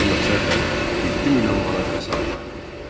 Bu məqsədlə 7 milyon manat vəsait ayrıldı.